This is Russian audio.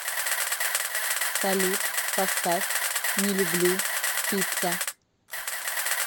салют поставь не люблю пицца